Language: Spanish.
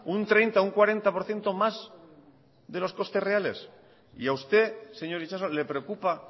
un treinta un cuarenta por ciento más de los costes reales y a usted señor itxaso le preocupa